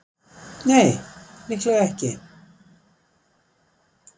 Nei, líklega ekki.